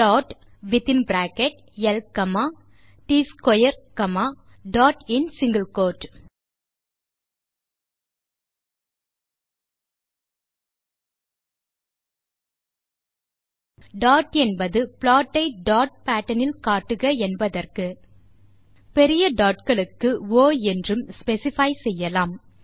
plot வித்தின் bracket ல் comma ட்ஸ்க்வேர் comma dot in single quote dot என்பது ப்ளாட் ஐ டாட் பேட்டர்ன் இல் காட்டுக என்பதற்கு பெரிய டாட் களுக்கு ஒ என்றும் ஸ்பெசிஃபை செய்யலாம்